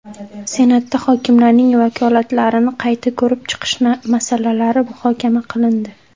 Senatda hokimlarning vakolatlarini qayta ko‘rib chiqish masalalari muhokama qilindi.